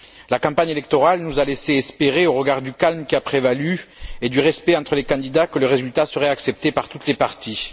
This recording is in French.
La campagne électorale nous a laissé espérer au regard du calme qui a prévalu et du respect entre les candidats que le résultat serait accepté par toutes les parties.